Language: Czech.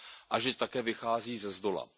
a že také vychází ze zdola.